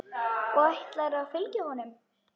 Og ætlarðu að fylgja honum?